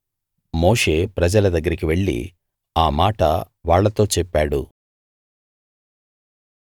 మోషే ప్రజల దగ్గరికి వెళ్లి ఆ మాట వాళ్ళతో చెప్పాడు